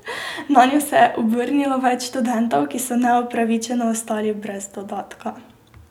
Nanjo se je obrnilo več študentov, ki so neupravičeno ostali brez dodatka.